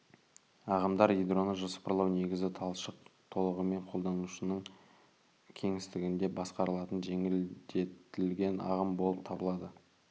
ағымдар ядроны жоспарлау негізі талшық толығымен қолданушының кеңістігінде басқарылатын жеңілдетілген ағым болып табылады